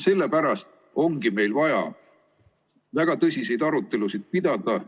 Sellepärast ongi meil vaja väga tõsiseid arutelusid pidada.